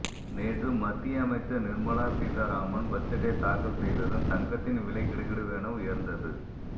நேற்று மத்திய அமைச்சர் நிர்மலா சீதாராமன் பட்ஜெட்டை தாக்கல் செய்ததும் தங்கத்தின் விலை கிடுகிடுவென உயர்ந்தது